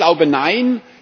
Ich glaube Nein!